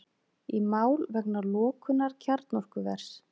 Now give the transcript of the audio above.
Í mál vegna lokunar kjarnorkuvers